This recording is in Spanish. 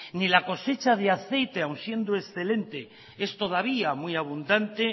ni la cosecha de aceite aun siendo excelente es todavía muy abundante